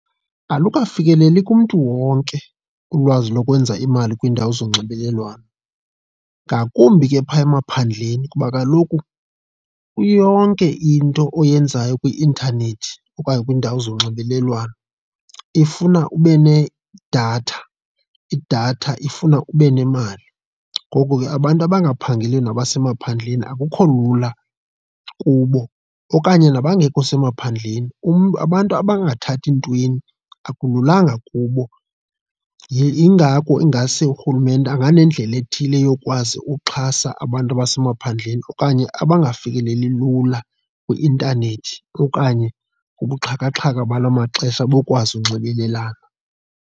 Alukafikeleli kumntu wonke ulwazi lokwenza imali kwiindawo zonxibelelwano, ngakumbi ke phaya emaphandleni kuba kaloku iyonke into oyenzayo kwi-intanethi okanye kwiindawo zonxibelelwano ifuna ube nedatha, idatha ifuna ube nemali. Ngoko ke abantu abangaphangeliyo nabasemaphandleni akukho lula kubo okanye nabangekho semaphandleni umntu, abantu abangathathi entweni akululanga kubo. Yingako ingase urhulumente anganedlela ethile yokwazi uxhasa abantu abasemaphandleni okanye abangafikeleli lula kwi-intanethi okanye kubuxhakaxhaka bala maxesha bokwazi unxibelelana.